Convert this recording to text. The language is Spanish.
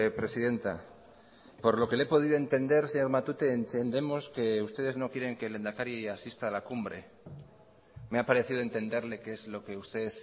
presidenta por lo que le he podido entender señor matute entendemos que ustedes no quieren que el lehendakari asista a la cumbre me ha parecido entenderle que es lo que usted